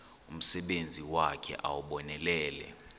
umsebenzi wakhe ewunonelele